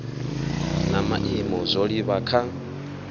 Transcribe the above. na maimo zwo livha kha